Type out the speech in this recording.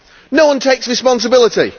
No one takes responsibility.